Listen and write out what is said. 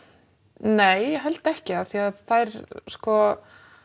nei ég held ekki af því að þær sko